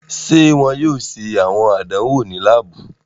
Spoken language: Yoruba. Ṣe wọn yoo ṣe awọn àdánwò ni laabu?